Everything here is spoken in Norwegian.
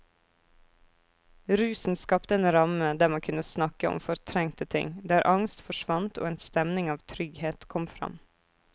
Rusen skapte en ramme der man kunne snakke om fortrengte ting, der angst forsvant og en stemning av trygghet kom fram.